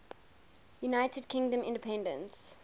united kingdom independence